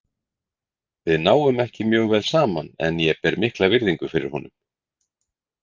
Við náum ekki mjög vel saman en ég ber mikla virðingu fyrir honum.